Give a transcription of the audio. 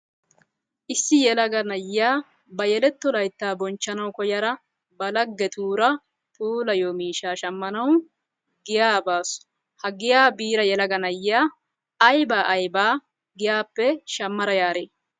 issi yelaga na'iya ba yeletto layttaa bonchchanawu koyada ba lagetuura puulayiyo miishshaa shammanawu giyaa baasu. Ha giyaa biida yelaga na'iya ayba aybaa giyaappe shamada yaaree?